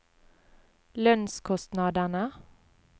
lønnskostnadene